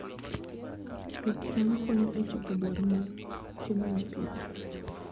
Pidh cham konyo e chopo dwaro mar chiemo mapile.